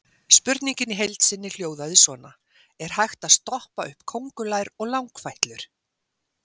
Spurningin í heild sinni hljóðaði svona: Er hægt að stoppa upp köngulær og langfætlur?